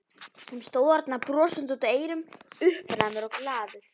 Sem stóð þarna brosandi út að eyrum, uppnæmur og glaður.